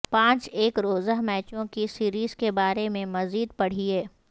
پانچ ایک روزہ میچوں کی سیریز کے بارے میں مزید پڑھیے